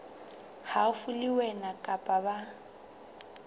haufi le wena kapa ba